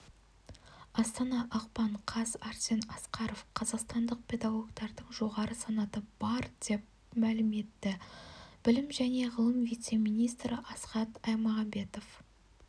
астана ақпан қаз арсен асқаров қазақстандық педагогтардың жоғары санаты бар деп мәлім етті білім және ғылым вице-министрі асхат аймағамбетов